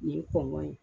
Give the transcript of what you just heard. Nin ye kɔngɔ ye